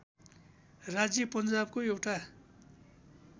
राज्य पन्जाबको एउटा